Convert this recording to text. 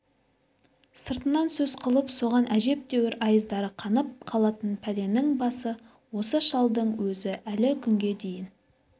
сыртынан сөз қылып соған әжептәуір айыздары қанып қалатын пәленің басы осы шалдың өзі әлі күнге дейін